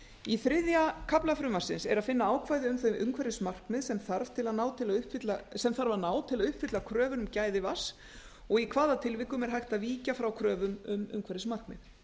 í þriðja kafla frumvarpsins er að finna ákvæði um þau umhverfismarkmið sem þarf að ná til að uppfylla kröfur um gæði vatns og í hvaða tilvikum hægt sé að víkja frá kröfum um umhverfismarkmið